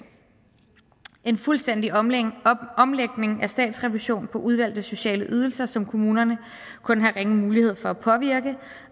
en fuldstændig omlægning omlægning af statsrevision på udvalgte sociale ydelser som kommunerne kun har ringe mulighed for at påvirke